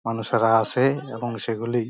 মানুষেরা আছে এবং সেগুলি --